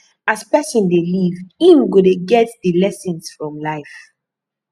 as person dey live im go dey get the lessons from life